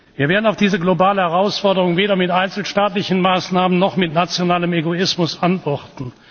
Wir werden auf diese globale Herausforderung weder mit einzelstaatlichen Maßnahmen noch mit nationalem Egoismus antworten.